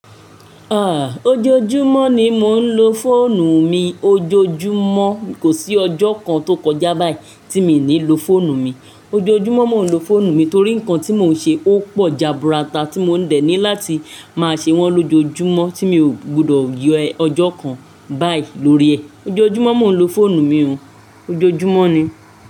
Ah! Ojoojúmọ́ ni mò ń lo fóònù mi, ojoojúmọ́. Kò sí ọjọ́ kan tó kọjá báyìí tí mi ò ní lo fóònù mi. Ojoojúmọ́ mò ń lo fóònù mi torí nǹkan tí mò ń ṣe ó pò jaburata tí mò ń dènì láti máa ṣe wọ́n lójoojúmọ́ tí mi ò gbọdọ̀ yọ ọjọ́ kan báyìí lórí ẹ̀. Ojoojúmọ́ mò ń lo fóònù mi o, ojoojúmọ́ ni.